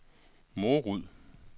Morud